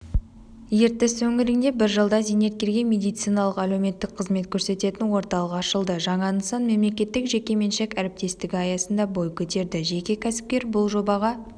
ертіс өңірінде бір жылда зейнеткерге медициналық-әлеуметтік қызмет көрсететін орталық ашылды жаңа нысан мемлекеттік-жекеменшік әріптестігі аясында бой көтерді жеке кәсіпкер бұл жобаға